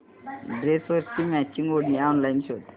ड्रेसवरची मॅचिंग ओढणी ऑनलाइन शोध